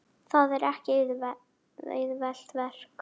Það er ekki auðvelt verk.